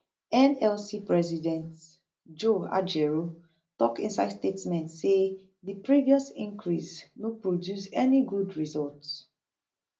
nlc president joe ajaero tok inside statement say di previous increase no produce any good result